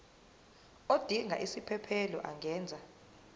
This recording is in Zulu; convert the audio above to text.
odinga isiphesphelo angenza